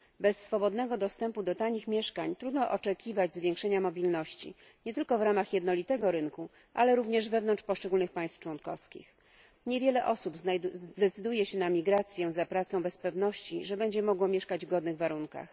Bez swobodnego dostępu do tanich mieszkań trudno oczekiwać zwiększenia mobilności, nie tylko w ramach jednolitego rynku, ale również wewnątrz poszczególnych państw członkowskich. Niewiele osób zdecyduje się na emigrację za pracą bez pewności, że będzie mogło mieszkać w godnych warunkach.